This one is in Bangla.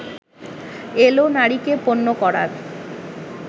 এলো নারীকে পণ্য করার